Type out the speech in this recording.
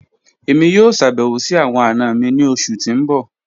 Emi yoo ṣabẹwo si awọn ana mi ni oṣu ti n bọ.